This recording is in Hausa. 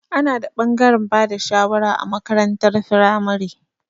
Ana da ɓangaren bada shawara a makarantar firamare.